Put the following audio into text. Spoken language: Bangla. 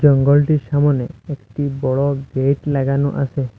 গলটির সামোনে একটি বড় লাগানো আসে।